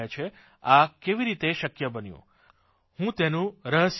આ કેવી રીતે શક્ય બન્યું હું તેનું રહસ્ય જણાવું